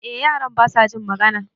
Eh yaran basa jin magana